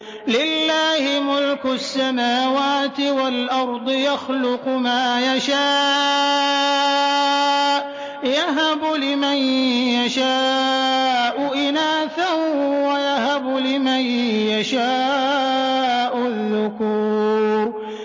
لِّلَّهِ مُلْكُ السَّمَاوَاتِ وَالْأَرْضِ ۚ يَخْلُقُ مَا يَشَاءُ ۚ يَهَبُ لِمَن يَشَاءُ إِنَاثًا وَيَهَبُ لِمَن يَشَاءُ الذُّكُورَ